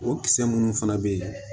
O kisɛ minnu fana bɛ yen